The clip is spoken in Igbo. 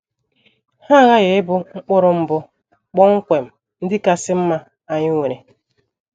Ha aghaghị ịbụ mkpụrụ mbụ kpọmkwem ndị kasị mma anyị nwere.